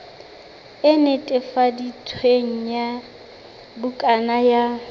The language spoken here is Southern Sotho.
e netefaditsweng ya bukana ya